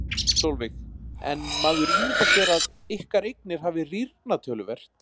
Sólveig: En maður ímyndar sér að ykkar eignir hafi rýrnað töluvert?